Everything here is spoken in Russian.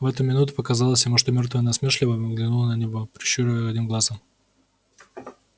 в эту минуту показалось ему что мёртвая насмешливо взглянула на него прищуривая одним глазом